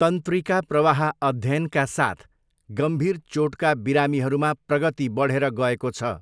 तन्त्रिका प्रवाह अध्ययनका साथ गम्भीर चोटका बिरामीहरूमा प्रगति बढेर गएको छ।